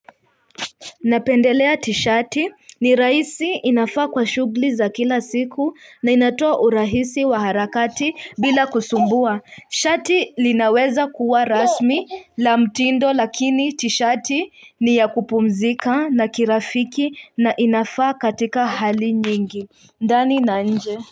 Napendelea tishati ni rahisi inafaa kwa shughuli za kila siku, na inatoa urahisi wa harakati bila kusumbua. Shati linaweza kuwa rasmi la mtindo lakini tishati ni ya kupumzika na kirafiki na inafaa katika hali nyingi. Ndani na nje.